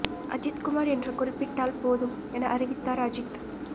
அஜீத் குமார் என்று குறிப்பிட்டால் போதும் என அறிவித்தார் அஜீத்